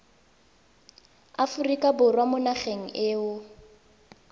aforika borwa mo nageng eo